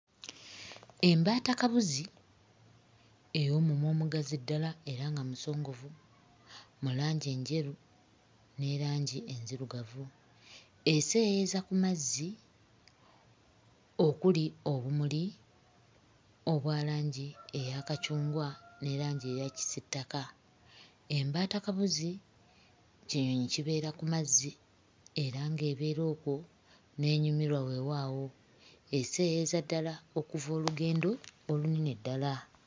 Embaatakabuzi ey'omumwa omugazi ddala era nga musongovu mu langi enjeru ne langi enzirugavu eseeyeeyeza ku mazzi okuli obumuli obwa langi eya kacungwa ne langi eya kitaka. Embaatakabuzi kinyonyi kibeera ku mazzi era ng'ebeera okwo n'enyumirwa weewaawo; eseeyeeyeza ddala okuva olugendo olunene ddala.